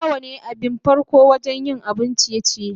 plawa ne abin farko wajen yin abun ciye-ciye.